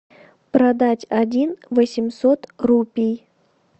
продать один восемьсот рупий